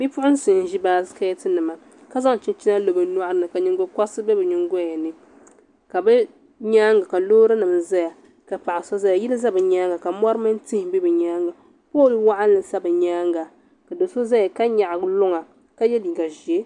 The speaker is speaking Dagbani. Bipuɣunsi n ʒi baskɛt nima ka zaŋ chinchina lo bi nyoɣani ka nyingokoriti bɛ bi nyingoya ni ka bi nyaanga ka loori nim ʒɛya ka paɣa so ʒɛya yili ʒɛ bi nyaanga ka mori mini tihi bɛ bi nyaanga pool mini tihi ʒɛ bi nyaanga ka do so ʒɛya ka nyaɣa luŋa ka yɛ liiga ʒiɛ